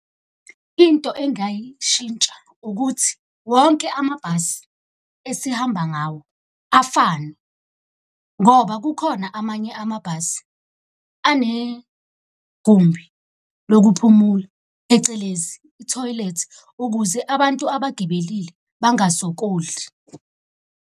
Into engayishintsha ukuthi wonke amabhasi esihamba ngawo afane, ngoba kukhona amanye amabhasi enegumbi lokuphumula phecelezi i-toilet, ukuze abantu abagibelile bangasokoli.